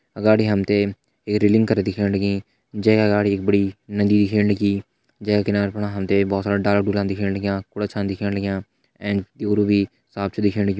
गाड़ी हम त ये रैलिंग कर दिखेण लगीं जैका अगाड़ी एक बड़ी नदी दिखेण लगीं जैका किनारा कुनारा हम त बहोत सारा डाला डुला दिखेण लग्याँ कुड़ा छिन दिखेण लग्याँ एंड ड्यूरु भी साफ़ छिन दिखेण लग्यूं।